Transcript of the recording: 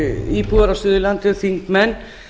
íbúar á suðurlandi og þingmenn